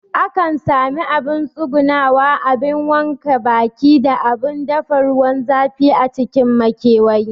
Akan sami abun tsugunawa, abun wanke baki da abun dafa ruwan zafi a cikin makewayi